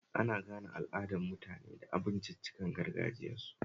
Ana gane al'adar mutane da abinciccikan gargajiyarsu